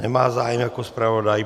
Nemá zájem jako zpravodaj.